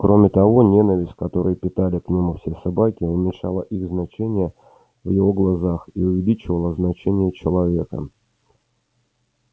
кроме того ненависть которую питали к нему все собаки уменьшала их значение в его глазах и увеличивала значение человека